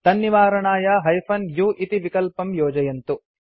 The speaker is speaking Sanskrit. तन्निवारणाय हाइफेन u इति विकल्पं योजयन्तु